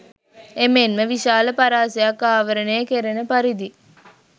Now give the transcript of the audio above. එමෙන්ම විශාල පරාසයක් ආවරණය කෙරෙන පරිදි